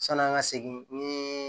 San'an ka segin ni